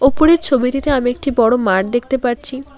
উপরের ছবিটিতে আমি একটি বড় মাঠ দেখতে পারছি।